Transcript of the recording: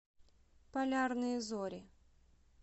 полярные зори